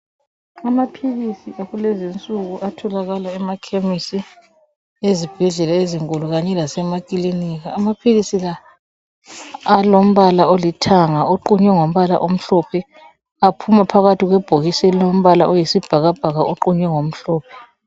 Amaphilisi akulezinsuku atholakala emakhemisi, ezibhedlela ezinkulu kanye lasemakilinika. Amaphilisi la alombala olithanga oqunywe ngombala omhlophe aphuma phakathi kwebhokisi elilombala oyisibhakabhaka oqunywe ngomhlophe.